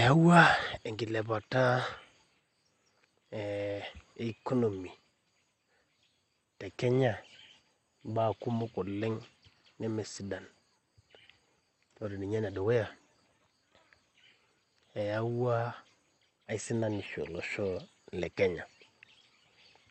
Eeeua enkilepata e economy tekenya imbaa kumok oleng ore ene dukuya